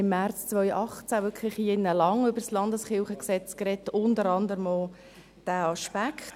Wir haben im März 2018 lange über das LKG gesprochen, unter anderem auch über diesen Aspekt.